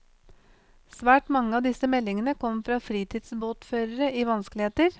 Svært mange av disse meldingene kom fra fritidssbåtførere i vanskeligheter.